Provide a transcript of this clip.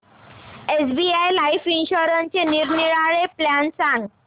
SBI life इन्शुरन्सचे निरनिराळे plan सांग